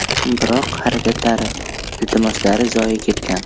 Biroq harakatlari, iltimoslari zoye ketgan.